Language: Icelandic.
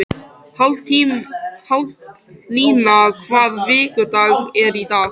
Haflína, hvaða vikudagur er í dag?